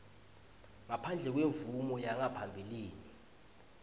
ngaphandle kwemvumo yangaphambilini